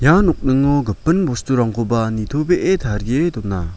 ia nokningo gipin bosturangkoba nitobee tarie dona.